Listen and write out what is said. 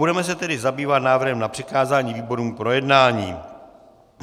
Budeme se tedy zabývat návrhem na přikázání výborům k projednání.